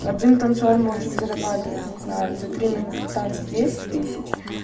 один танцор может зарабатывать не знаю за три минуты танца десять тысяч